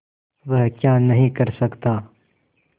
वह क्या नहीं कर सकता